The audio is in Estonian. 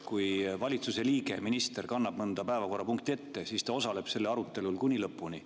Kui valitsuse liige, minister kannab mõnda päevakorrapunkti ette, siis ta osaleb sellel arutelul kuni lõpuni.